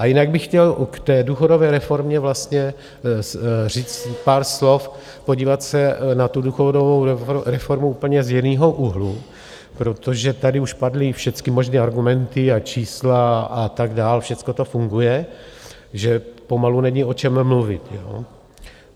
A jinak bych chtěl k té důchodové reformě vlastně říct pár slov, podívat se na tu důchodovou reformu úplně z jiného úhlu, protože tady už padly všecky možné argumenty a čísla a tak dál, všecko to funguje, že pomalu není o čem mluvit.